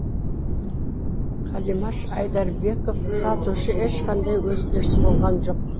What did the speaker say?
қалимаш айдарбеков сатушы ешқандай өзгеріс болған жоқ